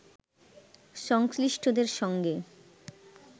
সংশ্লিষ্টদের সঙ্গে